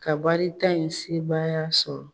Ka bari ta in sebaaya sɔrɔ.